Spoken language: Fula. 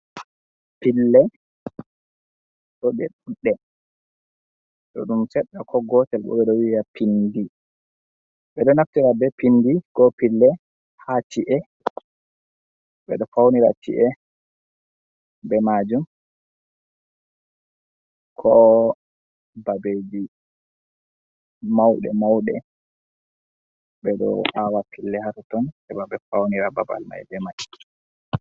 Pille ɗo be ɗunɗe. To ɗum seɗɗa ko gotel bo beɗo wiya piɗɗi. Beɗo naftira be pinɗi ko pille ha ci’e. Beɗo faunira ci’e be majum, ko babeji maude-mauɗe be ɗo awa pille hatoton heba be faunira babal mai be mai.